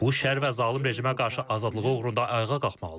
Bu şər və zalım rejimə qarşı azadlığı uğrunda ayağa qalxmalıdır.